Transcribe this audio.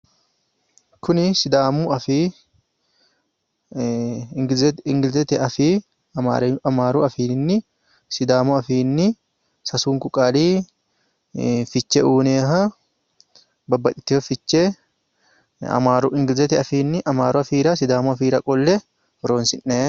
Kuni sidaamu afii ingilizete afii amaaru afiinni sidaamu afiinni sasunku qaalii fiche uyinayiha babbaxxitiwo fiche amaaru ingilizete afiinni amaaru afiira sidaamu afiira qolle horoonsi'nayi.